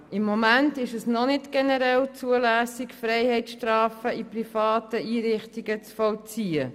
Im Moment ist es noch nicht generell zulässig, Freiheitsstrafen in privaten Einrichtungen zu vollziehen.